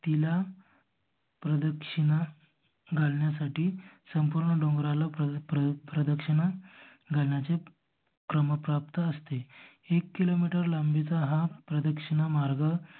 तिला प्रदक्षिणा घालण्यासाठी संपूर्ण डोंगराला प्रदीक्षिणा घालण्याचे क्रम प्राप्त असते. एक किलो मीटर लांबीचा हा प्रदक्षिणा मार्ग